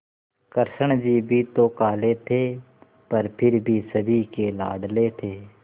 कृष्ण जी भी तो काले थे पर फिर भी सभी के लाडले थे